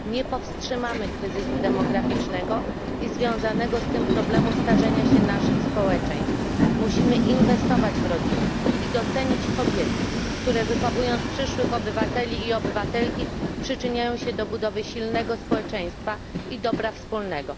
Nie powstrzymamy kryzysu demograficznego i związanego z tym problemu starzenia się naszych społeczeństw. Musimy inwestować w rodzinę i docenić kobiety, które wychowując przyszłych obywateli i obywatelki, przyczyniają się do budowy silnego społeczeństwa i dobra wspólnego.